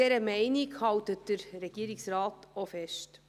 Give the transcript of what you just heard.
An dieser Meinung hält der Regierungsrat auch fest.